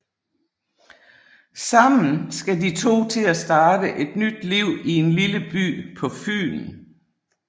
Sammen skal de to til at starte et nyt liv i en lille by på Fyn